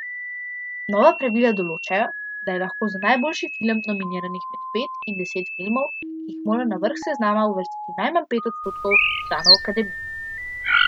Nova pravila določajo, da je lahko za najboljši film nominiranih med pet in deset filmov, ki jih mora na vrh seznama uvrstiti najmanj pet odstotkov članov akademije.